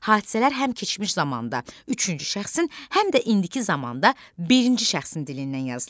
Hadisələr həm keçmiş zamanda üçüncü şəxsin, həm də indiki zamanda birinci şəxsin dilindən yazılır.